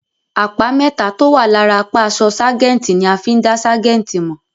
Àpá mẹ́tà tó ń wà lára apá àṣọ ságẹ̀ǹtì ni a fí ń dá ságẹ̀ǹtì mọ̀.